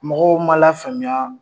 Mɔgɔw ma lafaamuya